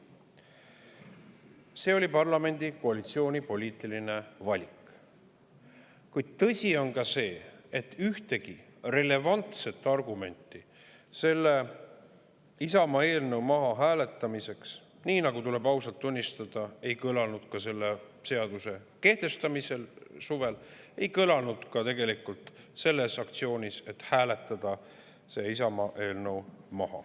See oli parlamendi koalitsiooni poliitiline valik, kuid tõsi on ka see, et ühtegi relevantset argumenti selle Isamaa eelnõu maha hääletamise aktsiooni ajal, tuleb ausalt tunnistada, ei kõlanud, nagu ka suvel kehtestamisel.